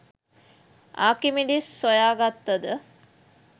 Archimedes සොයාගත්තද